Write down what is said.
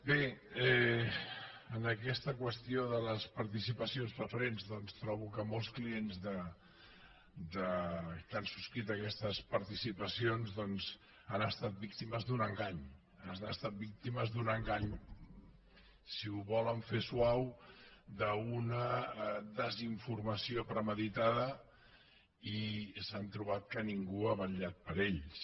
bé en aquesta qüestió de les participacions preferents trobo que molts clients que han subscrit aquestes participacions han estat víctimes d’un engany han estat víctimes d’un engany si ho volen fer suau d’una desinformació premeditada i s’han trobat que ningú ha vetllat per ells